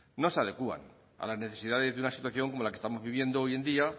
no se adecúan a las necesidades de una situación como la que estamos viviendo hoy en día